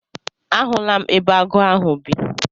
A hụla m ebe agụ ahụ bi.